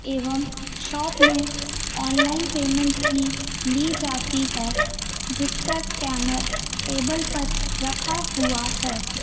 एवं शॉप में online payment भी ली जाती है जिसका स्कैनर टेबल पर रखा हुआ है।